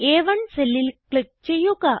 അ1 സെല്ലിൽ ക്ലിക്ക് ചെയ്യുക